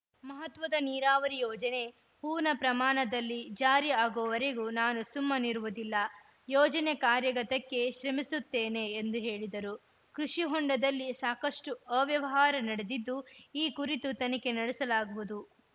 ಮಹತ್ವದ ನೀರಾವರಿ ಯೋಜನೆ ಪೂರ್ಣ ಪ್ರಮಾಣದಲ್ಲಿ ಜಾರಿ ಆಗುವರೆಗೂ ನಾನು ಸುಮ್ಮನಿರುವುದಿಲ್ಲ ಯೋಜನೆ ಕಾರ್ಯಗತಕ್ಕೆ ಶ್ರಮಿಸುತ್ತೇನೆ ಎಂದು ಹೇಳಿದರು ಕೃಷಿ ಹೊಂಡದಲ್ಲಿ ಸಾಕಷ್ಟುಅವ್ಯವಹಾರ ನಡೆದಿದ್ದು ಈ ಕುರಿತು ತನಿಖೆ ನಡೆಸಲಾಗುವುದು